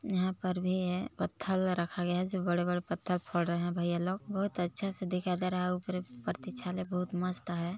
यहाँ पर भी है पत्थल रखा गया है जो बड़े- बड़े पत्थर फोड़ रहे हैं भैया लोग बहुत अच्छे से दिखाई दे रहा है ऊपरे प्रतीक्षालय बहुत मस्त हैं।